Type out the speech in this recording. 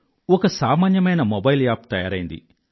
ఒక సామాన్యమైన mobile app తయారైంది